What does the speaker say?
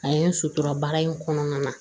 A ye n sutura baara in kɔnɔna na